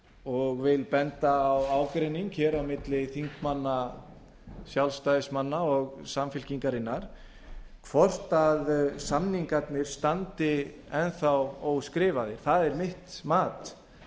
og vil benda á ágreining hér á milli þingmanna sjálfstæðismanna og samfylkingarinnar hvort samningarnir standi enn þá skrifaði það er mitt mat